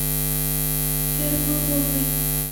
ермоловой